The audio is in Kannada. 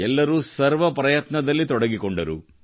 ಎಲ್ಲರೂ ಸರ್ವ ಪ್ರಯತ್ನದಲ್ಲಿ ತೊಡಗಿಕೊಂಡರು